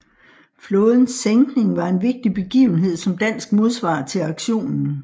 Flådens sænkning var en vigtig begivenhed som dansk modsvar til aktionen